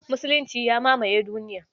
Musulunci ya mamaye duniya